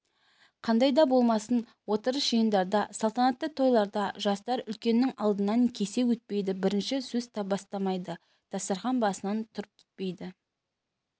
қандай да болмасын отырыс-жиындарда салтанатты тойларда жастар үлкеннің алдынан кесе өтпейді бірінші сөз бастамайды дастархан басынан тұрып кетпейді